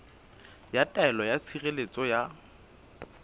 ya taelo ya tshireletso ya